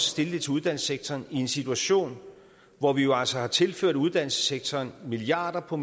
stille det til uddannelsessektoren i en situation hvor vi jo altså har tilført uddannelsessektoren milliarder og